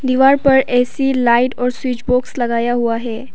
दीवार पर A C light और स्विच बॉक्स लगाया हुआ है।